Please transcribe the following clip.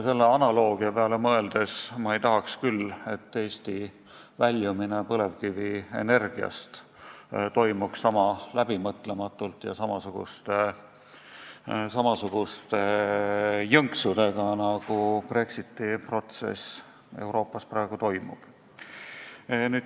Selle analoogia peale mõeldes ma ei tahaks, et Eesti väljumine põlevkivienergiast toimuks niisama läbimõtlematult ja samasuguste jõnksudega, nagu Brexiti protsess Euroopas praegu toimub.